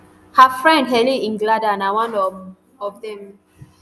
her friend helen nglada na one um of dem